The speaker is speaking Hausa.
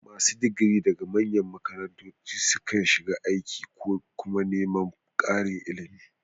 Masu digiri daga manyan makarantu sukan shiga aiki ko kuma neman ƙarin ilimi.